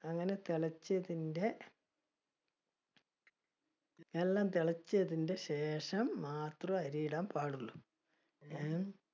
അങ്ങനെ തെളച്ചതിന്റെ എല്ലാം തിളച്ചതിന്റെ ശേഷം മാത്രം അരി ഇടാൻ പാടുള്ളൂ. അഹ്